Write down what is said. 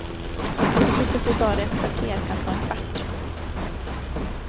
Att förflytta sig bara ett par kvarter kan ta en kvart.